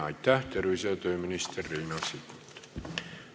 Aitäh, tervise- ja tööminister Riina Sikkut!